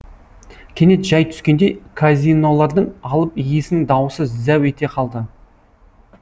кенет жай түскендей казинолардың алып иесінің даусы зәу ете қалды